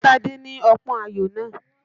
Fún Tádé ní ọpọ́n ayò náà!